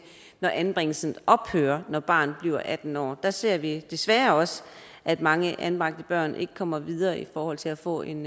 når anbringelsen ophører når barnet bliver atten år der ser vi desværre også at mange anbragte børn ikke kommer videre i forhold til at få en